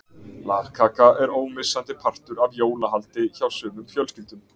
Lagkaka er ómissandi partur af jólahaldi hjá sumum fjölskyldum.